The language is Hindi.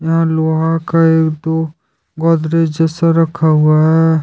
और लोहा का एक दो गोदरेज जैसा रखा हुआ है।